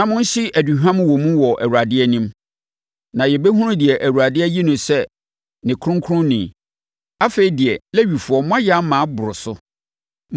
na monhye aduhwam wɔ mu wɔ Awurade anim. Na yɛbɛhunu deɛ Awurade ayi no sɛ ne kronkronni. Afei deɛ, Lewifoɔ moayɛ ama aboro so.”